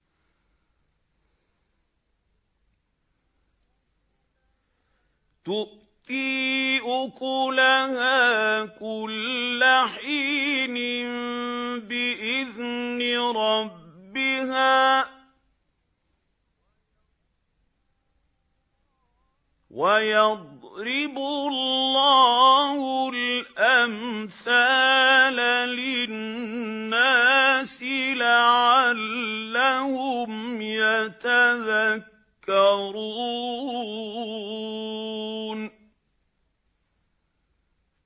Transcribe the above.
تُؤْتِي أُكُلَهَا كُلَّ حِينٍ بِإِذْنِ رَبِّهَا ۗ وَيَضْرِبُ اللَّهُ الْأَمْثَالَ لِلنَّاسِ لَعَلَّهُمْ يَتَذَكَّرُونَ